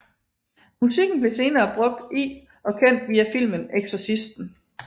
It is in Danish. Musikken blev senere brugt i og kendt via filmen Exorcisten